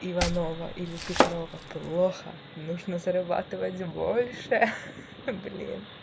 иванова или петрова плохо нужно зарабатывать больше ха-ха-ха блин